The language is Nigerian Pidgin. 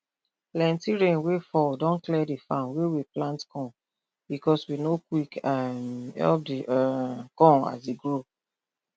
plenti rain wey fall don clear the farm wey we plant corn bcos we no quick quick um help the um corn as e grow